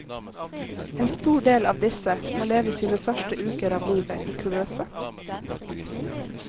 En stor del av disse må leve sine første uker av livet i kuvøse.